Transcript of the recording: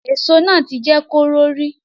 Èso náà ti jẹ́ kóró rí